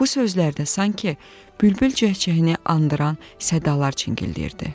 Bu sözlərdə sanki bülbül cəh-cəhini andıran zəngulalar çingilləyirdi.